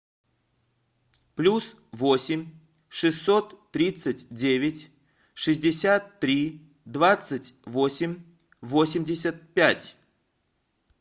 плюс восемь шестьсот тридцать девять шестьдесят три двадцать восемь восемьдесят пять